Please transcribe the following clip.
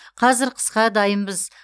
қазір қысқа дайынбыз